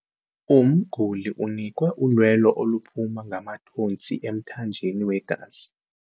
Umguli unikwe ulwelo oluphuma ngamathontsi emthanjeni wegazi.